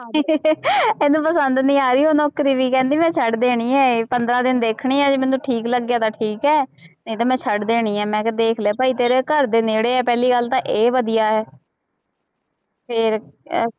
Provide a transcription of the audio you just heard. ਇਹਨੂੰ ਪਸੰਦ ਨੀ ਆ ਰਹੀ ਉਹ ਨੌਕਰੀ ਵੀ ਕਹਿੰਦੀ ਮੈਂ ਛੱਡ ਦੇਣੀ ਹੈ ਇਹ ਪੰਦਰਾਂ ਦਿਨ ਦੇਖਣੀ ਹੈ ਜੇ ਮੈਨੂੰ ਠੀਕ ਲੱਗਿਆ ਤਾਂ ਠੀਕ ਹੈ ਨਹੀਂ ਤਾਂ ਮੈਂ ਛੱਡ ਦੇਣੀ ਹੈ ਮੈਂ ਕਿਹਾ ਦੇਖ ਲੈ ਭਾਈ ਤੇਰੇ ਘਰਦੇ ਨੇੜੇ ਹੈ ਪਹਿਲੀ ਗੱਲ ਤਾਂ ਇਹ ਵਧੀਆ ਹੈ ਫਿਰ ਅਹ